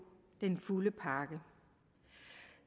den fulde pakke